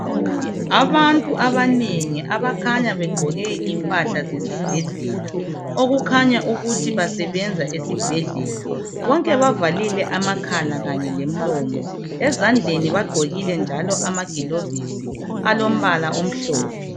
Abantu abanengi abakhanya begqoke impahla zesibhedlela okukhanya ukuthi basebenza esibhedlela, bonke bavalile amakhala kanye lemilomo ezandleni bagqokile njalo amagilovisi alombala omhlophe.